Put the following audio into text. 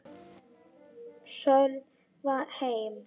Sölva heim.